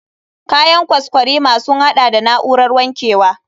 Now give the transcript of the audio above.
Kayan kwaskwarima sun haɗa da na'urar wankewa.